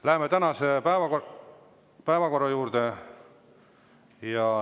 Läheme tänase päevakorra juurde.